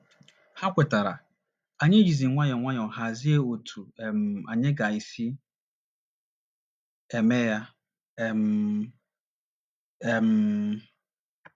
Ha kwetara, anyị jizi nwayọọ nwayọọ hazie otú um anyị ga - esi eme ya um. um